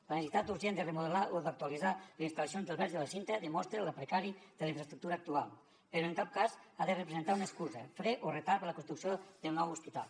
la necessitat urgent de remodelar o d’actualitzar les instal·lacions del verge de la cinta demostra lo precari de la infraestructura actual però en cap cas ha de representar una excusa fre o retard per a la construcció del nou hospital